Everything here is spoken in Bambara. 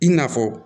I n'a fɔ